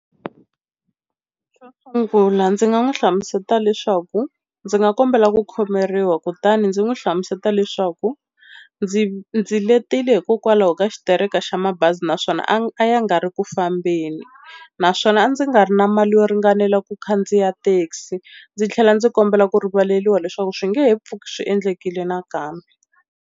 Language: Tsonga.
Xo sungula ndzi nga n'wi hlamuseta leswaku ndzi nga kombela ku khomeriwa kutani ndzi n'wi hlamuseta leswaku ndzi ndzi letile hikokwalaho ka xitereka xa mabazi naswona a ya nga ri ku fambeni, naswona a ndzi nga ri na mali yo ringanela ku khandziya thekisi. Ndzi tlhela ndzi kombela ku rivaleriwa leswaku swi nge he pfuki swi endlekile nakambe.